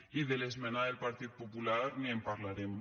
i de l’esmena del partit popular ni en parlarem